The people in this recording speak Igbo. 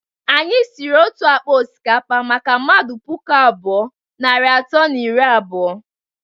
Anyi siri otu akpa osikapa maka mmadu puku abụọ, narị atọ na iri abụọ